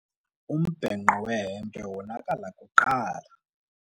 Umbhenqo wehempe wonakala kuqala.